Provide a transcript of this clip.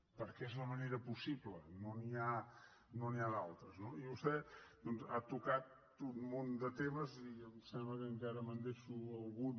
perquè és la manera possible no n’hi ha d’altres no i vostè doncs ha tocat un munt de temes i em sembla que encara me’n deixo algun